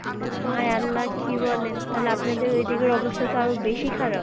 High আল্লাহ কি বলেন তালে আপনাদের ঐ দিকের অবস্থা তো আরো বেশি খারাপ।